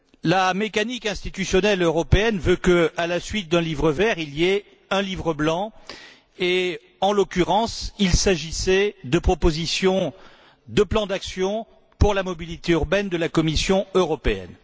La mécanique institutionnelle européenne veut que, à la suite d'un livre vert, il y ait un livre blanc et, en l'occurrence, il s'agissait de propositions de plans d'action pour la mobilité urbaine de la Commission européenne.